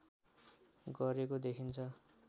गरेको देखिन्छ